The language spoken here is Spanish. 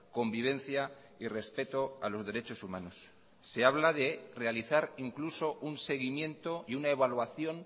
convivencia y respeto a los derechos humanos se habla de realizar incluso un seguimiento y una evaluación